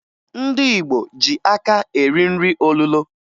Ndị Igbo ji aka eri nri olulo